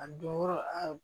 A don yɔrɔ a